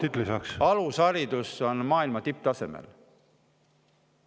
Eestis Vabariigi alusharidus on maailma tipptasemel.